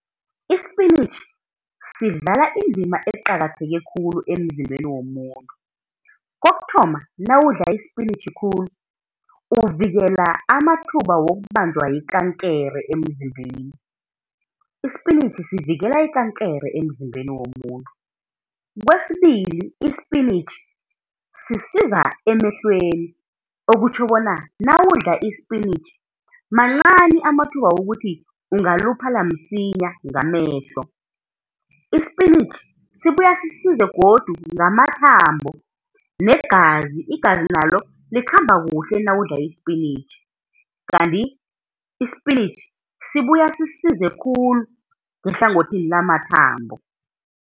Isipinitjhi sidlala indima eqakatheke khulu emzimbeni womuntu. Kokuthoma nawudla isipinitjhi khulu uvikela amathuba wokubanjwa yikankere emzimbeni. Isipintjhi sivikela ikankere emzimbeni womuntu. Kwesibili isipinitjhi sisiza emehlweni, okutjho bona nawudla isipinitjhi mancani amathuba wokuthi ungaluphala msinya ngamehlo. Isipinitjhi sibuya sisize godu ngamathambo, negazi, igazi nalo likhamba kuhle nawudla isipinitjhi. Kanti isipinitjhi sibuya sisize khulu ngehlangothini lamathambo.